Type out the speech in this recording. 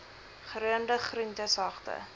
geroomde groente sagte